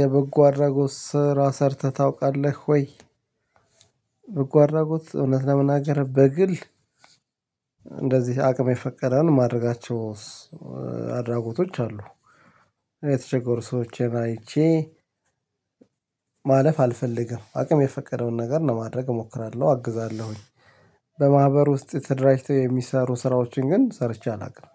የበጎ አድራጎት ስራ ሰርተህ ታውቃለህ ወይ? በጎ አድራጎት እውነት ለመናገር በግል እንደዚህ አቅም የፈቀደውን ማድረጋቸውስ አድራጎቶች አሉ። የተቸገሩ ሰዎችን አይቼ ማለፍ አልፈልግም አቅም የፈቀደውን ነገር ለማድረግ እሞክራለሁ አግዛለሁኝ። በማህበር ውስጥ ተደራጅተው የሚሰሩ ስራዎችን ግን ሰርቼ አላውቅም።